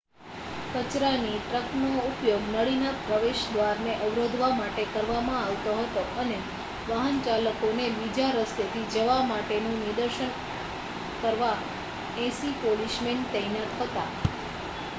કચરાની ટ્રકનો ઉપયોગ નળીના પ્રવેશદ્વારને અવરોધવા માટે કરવામાં આવતો હતો અને વાહનચાલકોને બીજા રસ્તેથી જવા માટેનું નિર્દેશન કરવા 80 પોલીસમેન તૈનાત હતા